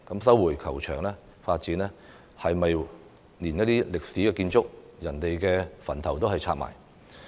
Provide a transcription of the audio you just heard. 收回球場發展是否想連歷史建築、先人的墳墓也拆卸？